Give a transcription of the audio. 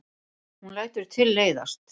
Hún lætur tilleiðast.